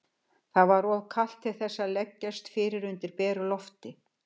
Það var of kalt til þess að leggjast fyrir undir beru lofti.